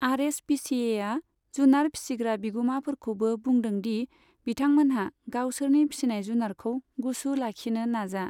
आर S P C एआ जुनार फिसिग्रा बिगुमाफोरखौबो बुंदों दि बिथांमोनहा गावसोरनि फिसिनाय जुनारखौ गुसु लाखिनो नाजा।